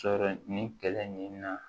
Sɔrɔ nin kɛlɛ nin na